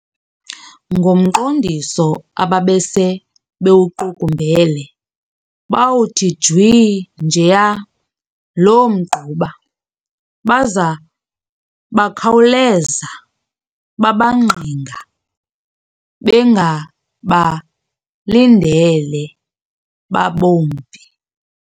Ngomqondiso ababese bewuqukumbele, bawuthi jwi njeya loo mgquba, baza bakhawuleza babangqinga, bengabalindele babumpi.